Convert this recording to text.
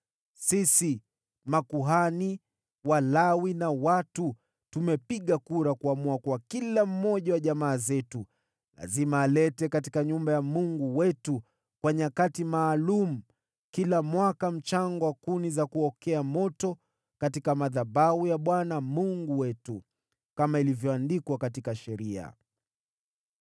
“Sisi makuhani, Walawi na watu, tumepiga kura kuamua kuwa kila mmoja wa jamaa zetu lazima alete katika nyumba ya Mungu wetu kwa nyakati maalum kila mwaka mchango wa kuni za kukokea moto katika madhabahu ya Bwana Mungu wetu, kama ilivyoandikwa katika Sheria.